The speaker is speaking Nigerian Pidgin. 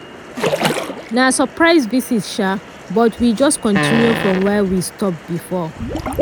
na surprise visit sha but we just continue from where we stop before.